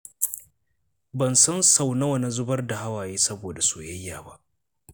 Ban san sau nawa na zubar da hawaye saboda soyayya ba.